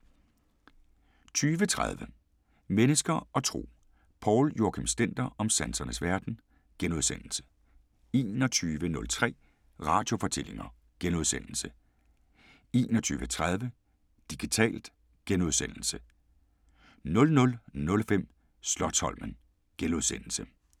20:30: Mennesker og Tro: Poul Joachim Stender om sansernes verden * 21:03: Radiofortællinger * 21:30: Digitalt * 00:05: Slotsholmen *